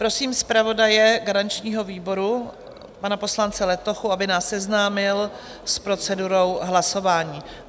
Prosím zpravodaje garančního výboru, pana poslance Letochu, aby nás seznámil s procedurou hlasování.